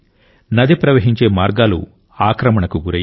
నది ప్రవహించే మార్గాలు ఆక్రమణకు గురయ్యాయి